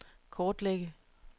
kortlægge